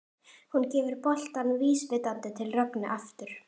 Hún gefur boltann vísvitandi til Rögnu aftur.